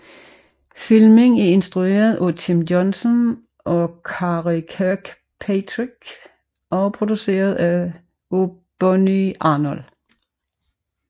Filmen er instrueret af Tim Johnson og Karey Kirkpatrick og produceret af Bonnie Arnold